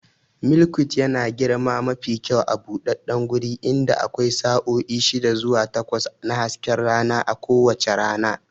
Milkweed yana girma mafi kyau a buɗaɗɗen guri inda akwai sa'o'i shida zuwa takwas na hasken rana a kowace rana.